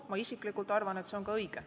Mina isiklikult arvan, et see on ka õige.